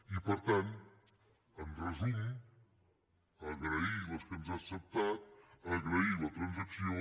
i per tant en resum agrair les que ens ha acceptat agrair la transacció